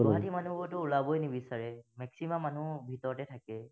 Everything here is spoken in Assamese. কিছুমানেতো ওলাবই নিবিচাৰে, maximum মানুহ ভিতৰতে থাকে,